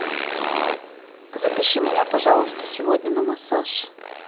запиши меня пожалуйста сегодня на массаж